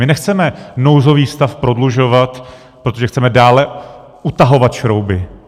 My nechceme nouzový stav prodlužovat, protože chceme dále utahovat šrouby.